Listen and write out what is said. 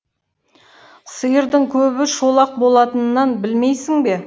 сиырдың көбі шолақ болатынын білмейсің бе